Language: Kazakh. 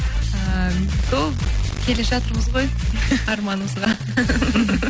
ыыы сол келе жатырмыз ғой арманымызға